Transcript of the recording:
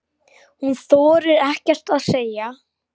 Hún þorir ekkert að segja.